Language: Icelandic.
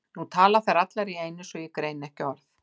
Nú tala þær allar í einu svo ég greini ekki orð.